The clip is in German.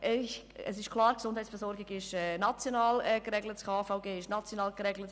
Klar ist, dass die Gesundheitsversorgung im KVG national geregelt ist.